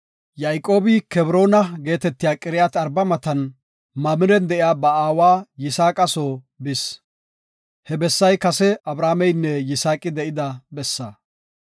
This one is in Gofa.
Yayqoobi Kebroona geetetiya Qiriyaat-Arba matan Mamiren de7iya ba aawa Yisaaqa soo bis. He bessay kase Abrahaameynne Yisaaqi de7ida bessaa.